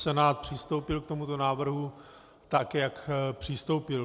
Senát přistoupil k tomuto návrhu tak, jak přistoupil.